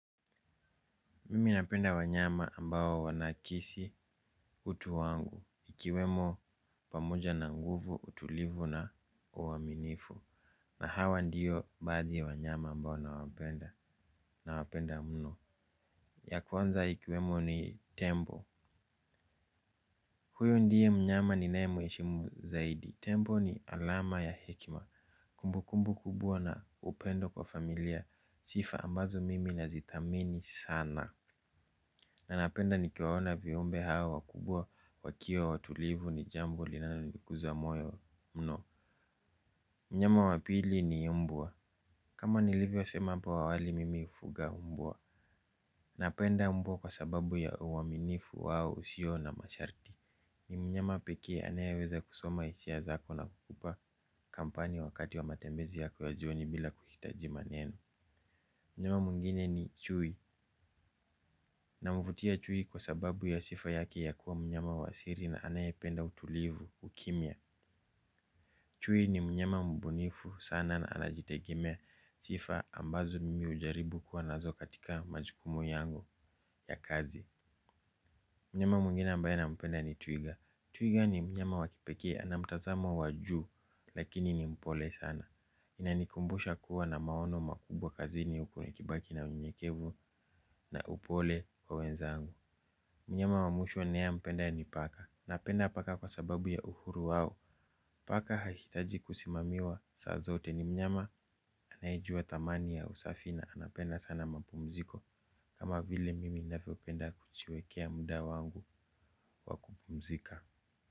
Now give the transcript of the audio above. Mimi napenda wanyama ambao wanakisi utu wangu. Ikiwemo pamoja na nguvu, utulivu na uaminifu. Na hawa ndiyo badi wanyama ambao na wapenda mno. Ya kuwanza ikiwemo ni tembo. Huyu ndiye mnyama ni nae mweshimu zaidi. Tembo ni alama ya hekima. Kumbu kumbu kubua na upendo kwa familia. Sifa ambazo mimi nazitamini sana. Na napenda nikiwaona viumbe hawa wakubwa wakio watulivu ni jambo linano likuza moyo mno. Mnyama wapili ni umbwa. Kama ni livyo sema hapo awali mimi ufuga umbwa. Napenda umbwa kwa sababu ya uwaminifu wao usio na masharti. Ni mnyama pekee anayeweza kusoma isia zako na kukupa kampani wakati wa matembezi yako ya joni bila kuhitaji maneno. Mnyama muingine ni chui. Na mvutia chuhi kwa sababu ya sifa yake ya kuwa mnyama wa siri na anaye penda utulivu ukimia. Chuhi ni mnyama mbunifu sana na anajitegimea sifa ambazo mimi ujaribu kuwa nazo katika majikumu yangu ya kazi. Mnyama mungine ambaye nampenda ni twiga. Twiga ni mnyama wakipeke ana mtazama waju lakini ni mpole sana. Inanikumbusha kuwa na maono makubwa kazini huku nikibaki na unyekevu na upole kwa wenzangu. Mnyama wa mwisho ninayempenda ni paka. Napenda paka kwa sababu ya uhuru wao. Paka hahitaji kusimamiwa saa zote ni mnyama. Anayejua thamani ya usafi na anapenda sana mapumziko. Kama vile mimi ninavyopenda kujiwekea muda wangu wa kupumzika.